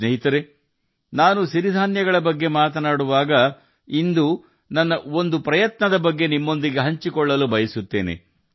ಸ್ನೇಹಿತರೇ ನಾನು ಸಿರಿ ಧಾನ್ಯಗಳ ಬಗ್ಗೆ ಇಂದು ಮಾತನಾಡುವಾಗ ನನ್ನ ಒಂದು ಪುಟ್ಟ ಪ್ರಯತ್ನವನ್ನು ನಿಮ್ಮೊಂದಿಗೆ ಹಂಚಿಕೊಳ್ಳಲು ಬಯಸುತ್ತೇನೆ